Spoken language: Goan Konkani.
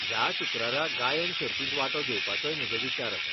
ह्या शुक्रारा गायन सर्तींत वांटो घेवपाचोय म्हजो विचार आसा.